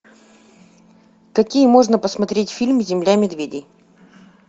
какие можно посмотреть фильм земля медведей